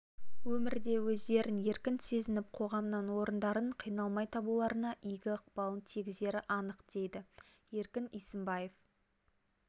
өмірде өздерін еркін сезініп қоғамнан орындарын қиналмай табуларына игі ықпалын тигізері анық дейді еркін исімбаев